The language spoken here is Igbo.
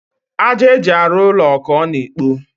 àjà eji arụ ụlọ ka ọ na ekpo